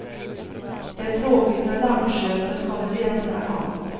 Det är tråkigt när lampköpet kommer i andra hand.